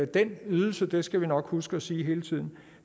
den ydelse det skal vi nok huske at sige hele tiden